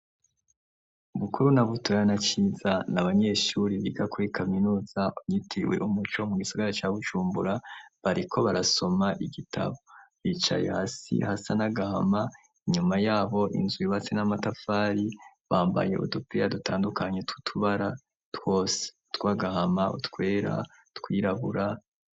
Bukuru na Butoyi na Ciza n'abanyeshuri biga kuri kaminuza yitiriwe umuco mu gisigara ca bujumbura bariko barasoma igitabo bicaye hasi hasa nagahama inyuma yabo inzu yubatse n'amatafari bambaye udupira dutandukanye tutubara twose twagahama utwera twirabura.